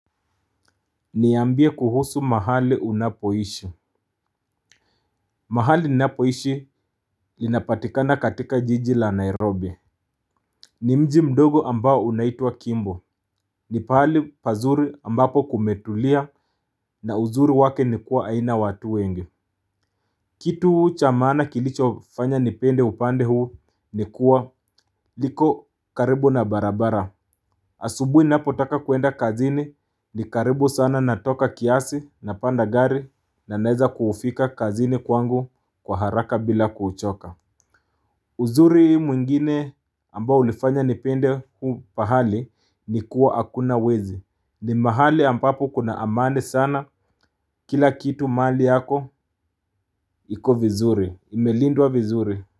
Niambie kuhusu mahali unapoishi mahali ninapoishi inapatikanakatika jiji la Nairobi. Ni mji mdogo ambao unaitwa kimbo. Ni pahali pazuri ambapo kumetulia na uzuri wake ni kuwa haina watu wengi. Kitu cha maana kilicho fanya nipende upande huu ni kuwa liko karibu na barabara. Asubuhi ninapotaka kuenda kazini ni karibu sana natoka kiasi napanda gari na naeza kufika kazini kwangu kwa haraka bila kuchoka. Uzuri mwingine ambao ulifanya nipende huu pahali ni kuwa hakuna wezi. Ni mahali ambapo kuna amani sana kila kitu mali yako iko vizuri. Imelindwa vizuri.